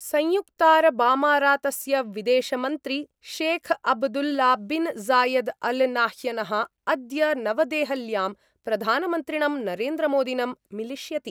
संयुक्तारबामारातस्य विदेशमंत्री Sheikh Abdullah bin Zayed Al नाह्यनः अद्य नवदेहल्यां प्रधानमन्त्रिणं नरेन्द्रमोदिनम् मिलिष्यति।